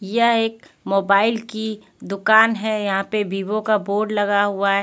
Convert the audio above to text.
यह एक मोबाइल की दुकान है यहां पे वीवो का बोर्ड लगा हुआ है.